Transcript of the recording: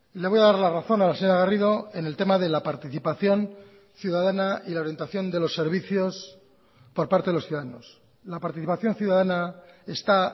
le voy a dar la razón a la señora garrido en el tema de la participación ciudadana y la orientación de los servicios por parte de los ciudadanos la participación ciudadana está